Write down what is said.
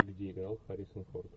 где играл харрисон форд